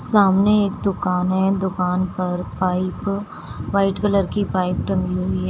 सामने एक दुकान है दुकान पर पाइप व्हाइट कलर की पाइप टंगी हुई है।